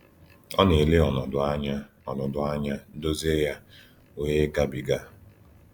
Ọ na -ele ọnọdụ anya, ọnọdụ anya, dozie ya, wee gabiga.